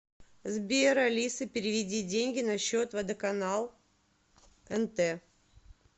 сбер алиса переведи деньги на счет водоканал нт